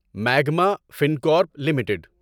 magma Fincorp limited